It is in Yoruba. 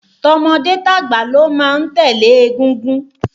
Tọmọdé tàgbà ló má ń tẹ̀lé égúngún